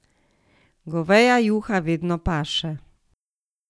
Goveja juha vedno paše.